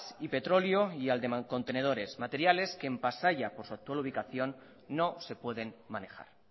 y petróleo y al de mancontenedores materiales que en pasaia por su actual ubicación no se pueden manejar